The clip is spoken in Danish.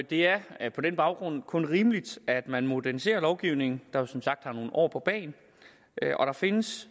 det er er på den baggrund kun rimeligt at man moderniserer lovgivningen der jo som sagt har nogle år på bagen og der findes